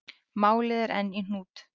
Málið er enn í hnút.